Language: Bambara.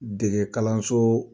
Dege kalanso